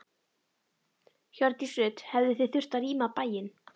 Hjördís Rut: Hefðuð þið þurft að rýma bæinn?